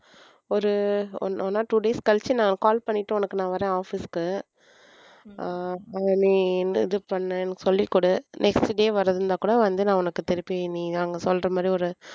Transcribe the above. ஒரு one or two days கழிச்சு நான் call பண்ணிட்டு உனக்கு நான் வர்றேன் office க்கு அஹ் நீ இது பண்ணு எனக்கு சொல்லிக்கொடு next day வரதுன்னா கூட வந்து நான் உனக்கு திருப்பி நீ அங்க சொல்றமாதிரி ஒரு